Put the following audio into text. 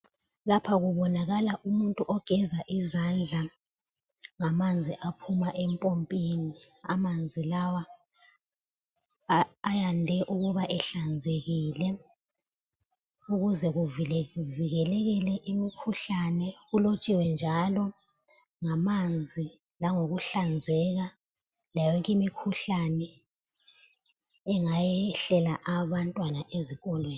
Lapha kubonakala umuntu ogeza izandla ngamanzi aphuma empompini. Amanzi lawa ayande ukuba ehlanzekile ukuze kuvikeleke imikhuhlane. Kulotshiwe njalo ngamanzi langokuhlanzeka layo yonke imikhuhlane engayehlela abantwana ezikolweni.